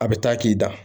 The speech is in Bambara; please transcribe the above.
A bɛ taa k'i da